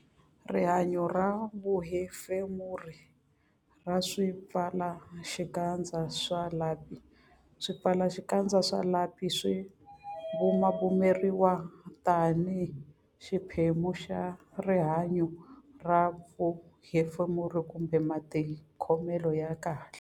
Rihanyo ra vuhefemuri ra swipfalaxikandza swa lapi Swipfalaxikandza swa lapi swi bumabumeriwa tanihi xiphemu xa rihanyo ra vuhefemuri kumbe matikhomelo ya kahle.